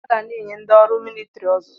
Aga na-enye ndị ọrụ militiri ọzụzụ